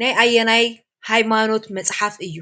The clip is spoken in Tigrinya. ናይ ኣየናይ ሃይማኖት መፅሓፈ እዩ?